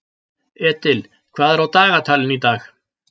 Edil, hvað er á dagatalinu í dag?